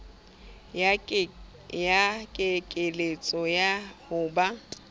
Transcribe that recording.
ya kekeletso ya ho ba